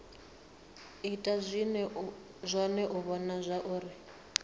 ita zwone u vhona zwauri